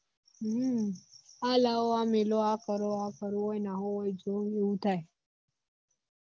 હમ આ લાવો આ મેકો આ કરો આ ફરો ઓય નાહો ઓય જો એવું થાય